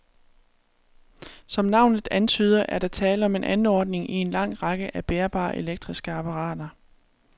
Som navnet antyder, er der tale om en anordning i en lang række af bærbare elektriske apparater.